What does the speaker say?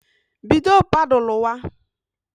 Bido paduluwa